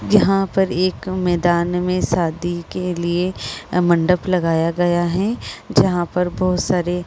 यहां पर एक मैदान में शादी के लिए मंडप लगाया गया है जहां पर बहुत सारे --